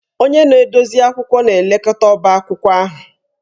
Onye na-edozi akwụkwọ na-elekọta ọbá akwụkwọ ahụ